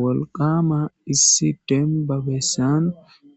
wolqama issi denbabessan